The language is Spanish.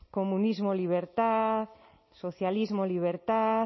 comunismo libertad socialismo libertad